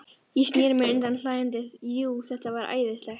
Ég sneri mér undan hlæjandi, jú, þetta var æðislegt.